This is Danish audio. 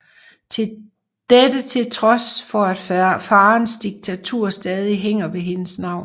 Dette til trods for at faderens diktatur stadig hænger ved hendes navn